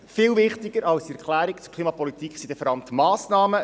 Viel wichtiger als diese Erklärung zur Klimapolitik sind die Massnahmen;